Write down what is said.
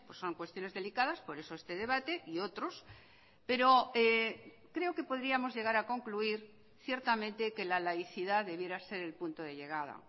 son cuestiones delicadas por eso este debate y otros pero creo que podríamos llegar a concluir ciertamente que la laicidad debiera ser el punto de llegada